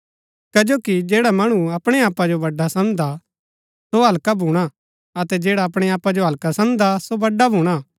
कजो कि जैडा मणु अपणै आपा जो बड़ा समझदा सो हल्का भूणा अतै जैडा अपणै आपा जो हल्का समझदा सो बड़ा भूणा